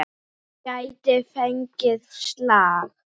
Hún gæti fengið slag.